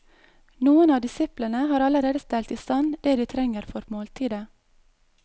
Noen av disiplene har allerede stelt i stand det de trenger for måltidet.